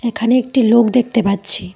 এখানে একটি লোক দেখতে পাচ্ছি।